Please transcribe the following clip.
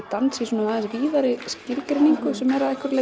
dans í svolítið víðari skilgreiningu sem er að einhverju